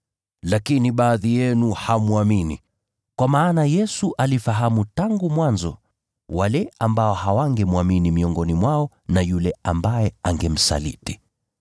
Lakini baadhi yenu hamwamini.” Kwa maana Yesu alifahamu tangu mwanzo wale ambao hawangemwamini miongoni mwao na yule ambaye angemsaliti.